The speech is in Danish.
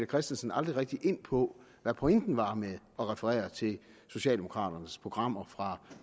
christensen aldrig rigtig ind på hvad pointen var med at referere til socialdemokraternes programmer fra